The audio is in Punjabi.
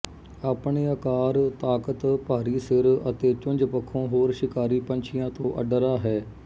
ਆਪਣੇ ਆਕਾਰ ਤਾਕਤ ਭਾਰੀ ਸਿਰ ਅਤੇ ਚੁੰਝ ਪੱਖੋਂ ਹੋਰ ਸ਼ਿਕਾਰੀ ਪੰਛੀਆਂ ਤੋਂ ਅੱਡਰਾ ਹੈ